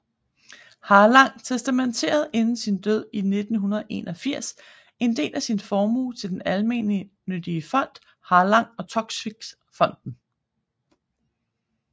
Harlang testamenterede inden sin død i 1981 en del af sin formue til den almennyttige fond Harlang og Toksvig Fonden